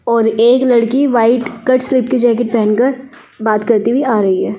और एक लड़की वाइट कट स्लीप की जैकेट पहनकर बात करती हुई आ रही है ।